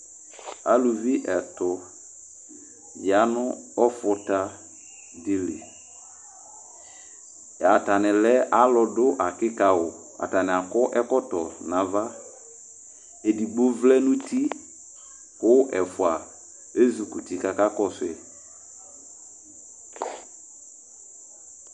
alʊʋɩ ɛtʊ atanɩ ƴanʊ ɔƒʊtaɗɩlɩ atanɩaɗʊ aƙɩƙawʊ aƙɔ ɛƙɔyɔ naʋa eɗɩgɓoʋlɛnʊ ʊtɩƙpa alʊɛƒʊa ezʊkʊtɩ ƙaƙaƙɔsʊƴɩ